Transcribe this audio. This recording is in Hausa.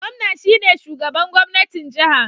Gwamna shine shugaban gwamnatin jiha